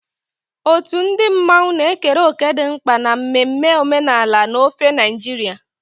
Otu ndị mmanwụ na-ekere òkè dị mkpa na mmemme omenala n'ofe Naịjirịa.